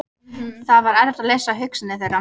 Það var erfitt að lesa hugsanir þeirra.